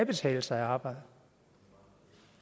betale sig at arbejde